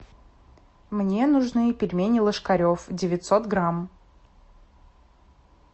мне нужны пельмени ложкарев девятьсот грамм